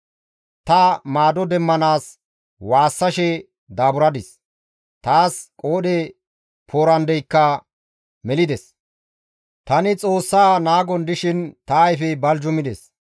Tani maado demmanaas waassashe daaburadis; taas qoodhe poorandeyka melides. Ta Xoossa naagon dishin ta ayfey baljumides.